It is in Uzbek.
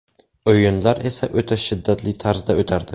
O‘yinlar esa o‘ta shiddatli tarzda o‘tardi.